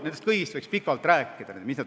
Nendest kõigist võiks pikalt rääkida.